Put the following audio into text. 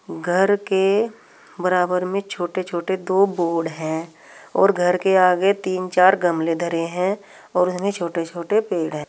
घर के बराबर में छोटे छोटे दो बोर्ड हैं और घर के आगे तीन चार गमले धरे हैं और उसमें छोटे छोटे पेड़ हैं।